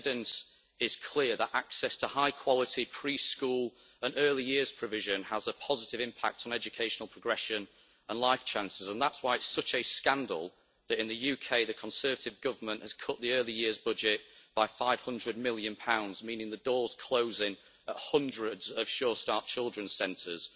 The evidence is clear that access to high-quality pre school and early years provision has a positive impact on educational progression and life chances, and that is why it is such a scandal that in the UK the Conservative Government has cut the Early Years budget by GBP 500 million, meaning the door is closing to hundreds of Sure Start children's centres.